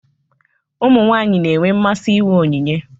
Ụmụ nwanyị na-enwe mmasị inwe onyinye.